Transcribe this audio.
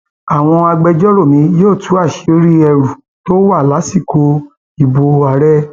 àwọn agbẹjọrò mi yóò tú àṣírí ẹrù tó wà lásìkò ìbò ààrẹ